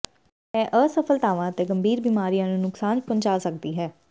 ਇਹ ਅਸਫਲਤਾਵਾਂ ਅਤੇ ਗੰਭੀਰ ਬਿਮਾਰੀਆਂ ਨੂੰ ਨੁਕਸਾਨ ਪਹੁੰਚਾ ਸਕਦੀ ਹੈ